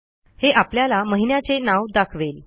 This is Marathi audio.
हे आपल्याला महिन्याचे नाव दाखवेल